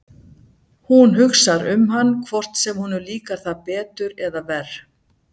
Hún hugsar um hann hvort sem honum líkar það betur eða verr.